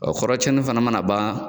kɔrɔcɛnni fana mana ban